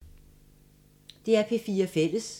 DR P4 Fælles